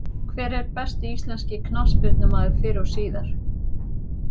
Hver er besti íslenski knattspyrnumaður fyrr og síðar?